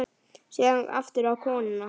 Síðan aftur á konuna.